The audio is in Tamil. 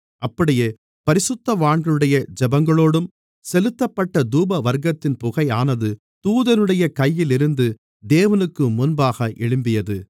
அப்படியே பரிசுத்தவான்களுடைய ஜெபங்களோடும் செலுத்தப்பட்ட தூபவர்க்கத்தின் புகையானது தூதனுடைய கையில் இருந்து தேவனுக்குமுன்பாக எழும்பியது